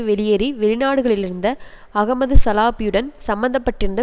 வெளியேறி வெளிநாடுளிலிருந்த அஹமது சலாபியுடன் சம்மந்தப்பட்டிருந்த